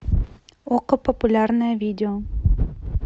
окко популярное видео